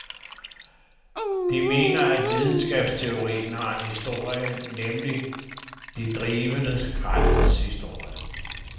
De mener at videnskabsteorien har en historie, nemlig de drivende kræfters historie.